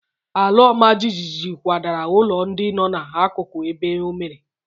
Ala ọma jijiji kwadara ụlọ ndị nọ n'akụkụ ebe o mere.